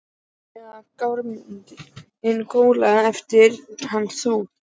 Já- eða Grámosinn glóir eftir hann Thor?